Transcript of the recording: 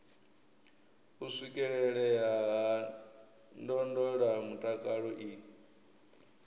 u swikelelea ha ndondolamutakalo i